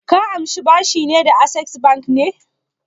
Ka amshi bashi da Access Bank ne?